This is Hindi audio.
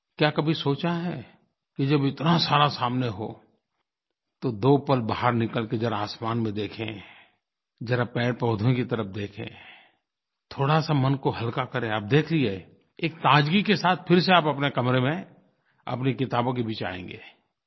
क्या कभी सोचा है कि जब इतना सारा सामने हो तो दो पल बाहर निकल कर ज़रा आसमान में देखें ज़रा पेड़पौधों की तरफ देखें थोड़ासा मन को हल्का करें आप देखिए एक ताज़गी के साथ फिर से आप अपने कमरे में अपनी किताबों के बीच आएँगे